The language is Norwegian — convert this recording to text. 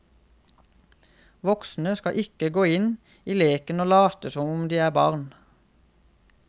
Voksne skal ikke gå inn i leken og late som om de er barn.